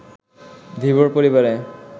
ধীবর পরিবারে